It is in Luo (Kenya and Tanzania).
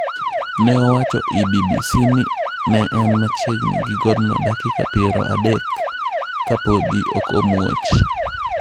Ne owacho ni BBC ni ne en machiegini gi godno dakika piero adek ka podi ok omuoch.